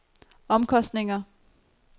omkostninger